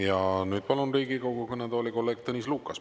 Ja nüüd palun Riigikogu kõnetooli kolleeg Tõnis Lukase.